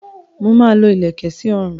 Mo máa lo ìlèkẹ̀ sí ọrùn.